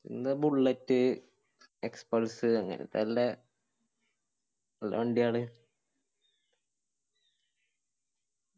എന്ന bullet xpulse അങ്ങനതന്നെ നല്ല വണ്ടിയാണ്